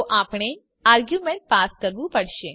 તો આપણે argument pass કરવું પડશે